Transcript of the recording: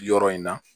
Yɔrɔ in na